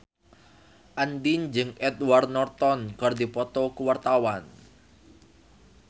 Andien jeung Edward Norton keur dipoto ku wartawan